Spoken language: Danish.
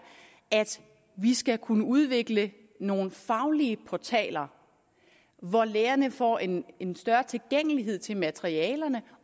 at vi skal kunne udvikle nogle faglige portaler hvor lærerne får en en større tilgængelighed til materialerne